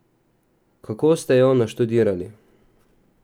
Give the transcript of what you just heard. Kako ste jo naštudirali?